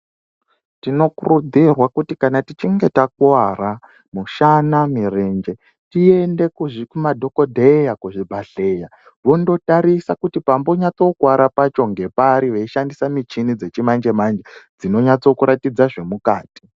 Tinokurudzirwa kuti kana tichinge takuwara mushana, mirenje, tiende kumadhogodheya, kuzvibhedhleya vondotarisa kuti panyatsokuwara pacho ngepari veishandisa micheni yechimanje-manje dzinonatse kuratidza zvemukati.